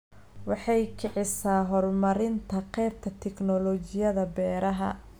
Waxay kicisaa horumarinta qaybta tignoolajiyada beeraha.